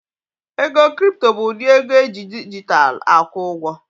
Ego kripto bụ ụdị ego eji dijitalụ akwụ ụgwọ